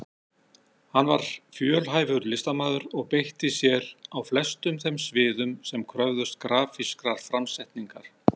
Hann var fjölhæfur listamaður sem beitti sér á flestum þeim sviðum sem kröfðust grafískrar framsetningar.